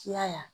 Kiya